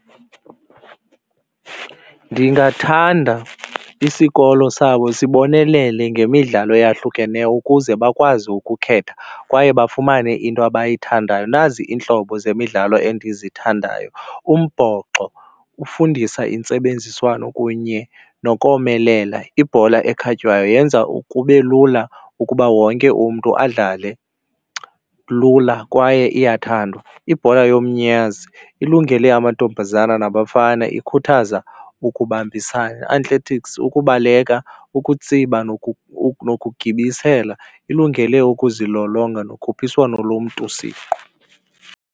Ndingathanda isikolo sabo sibonelele ngemidlalo eyahlukeneyo ukuze bakwazi ukukhetha kwaye bafumane into abayithandayo. Nazi iintlobo zemidlalo endizithandayo, umbhoxo ufundisa intsebenziswano kunye nokomelela, ibhola ekhatywayo yenza kube lula ukuba wonke umntu adlale lula kwaye iyathandwa. Ibhola yomnyazi ilungele amantombazana nabafana, ikhuthaza ukubambisana. Athletics, ukubaleka, ukutsiba nokugibisela ilungele ukuzilolonga nokhuphiswano lomntu siqu.